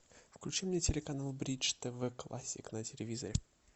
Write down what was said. включи мне телеканал бридж тв классик на телевизоре